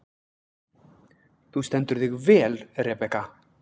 Þú stendur þig vel, Rebekka!